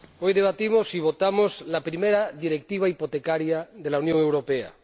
Hoy debatimos y votamos la primera directiva hipotecaria de la Unión Europea.